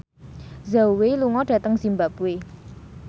Zhao Wei lunga dhateng zimbabwe